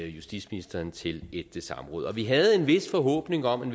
justitsministeren til et samråd og vi havde en vis forhåbning om